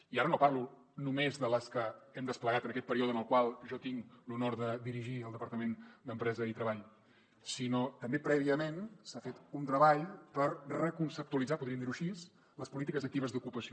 i ara no parlo només de les que hem desplegat en aquest període en el qual jo tinc l’honor de dirigir el departament d’empresa i treball sinó que també prèviament s’ha fet un treball per reconceptualitzar podríem dir ho així les polítiques actives d’ocupació